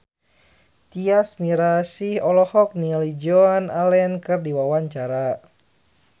Tyas Mirasih olohok ningali Joan Allen keur diwawancara